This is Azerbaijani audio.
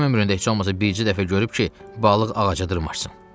Kim ömründə heç olmasa bircə dəfə görüb ki, balıq ağaca dırmaşsın?